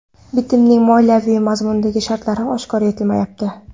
Bitimning moliyaviy mazmundagi shartlari oshkor etilmayapti.